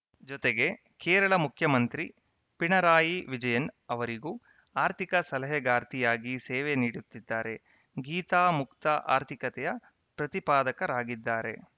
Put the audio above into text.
ಜೊತೆಗೆ ಕೇರಳ ಮುಖ್ಯಮಂತ್ರಿ ಪಿಣರಾಯಿ ವಿಜಯನ್‌ ಅವರಿಗೂ ಆರ್ಥಿಕ ಸಲಹೆಗಾರ್ತಿಯಾಗಿ ಸೇವೆ ನೀಡುತ್ತಿದ್ದಾರೆ ಗೀತಾ ಮುಕ್ತ ಆರ್ಥಿಕತೆಯ ಪ್ರತಿಪಾದಕರಾಗಿದ್ದಾರೆ